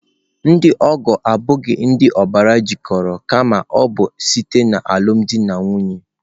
Ndị ọgọ ha abụghị ndị obars jikoro kama ọ bụ site alumdi na nwunye.